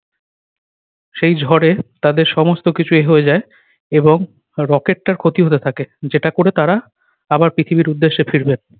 সেই ঝড়ে তাদের সমস্ত কিছু এ হয়ে যায় এবং rocket টার ক্ষতি হতে থাকে যেটা করে তারা আবার পৃথিবীর উদ্দেশ্য ফিরবেন।